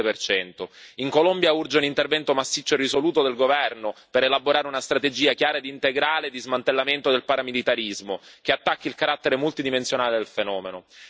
47 In Colombia urge un intervento massiccio e risoluto del governo per elaborare una strategia chiara e integrale di smantellamento del paramilitarismo, che attacchi il carattere multidimensionale del fenomeno.